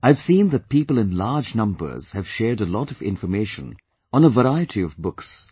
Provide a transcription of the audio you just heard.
I have seen that people in large numbers have shared a lot of information on a variety of books